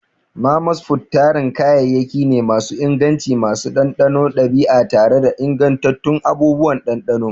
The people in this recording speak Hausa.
Mama's food tarin kayayyaki ne masu inganci, masu ɗanɗanon ɗabi'a tare da ingantattun abubuwan ɗanɗano.